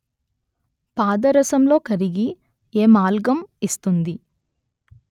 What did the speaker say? పాదరసంలో కరిగి ఎమాల్గమ్ ఇస్తుంది